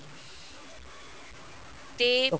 ਤੇ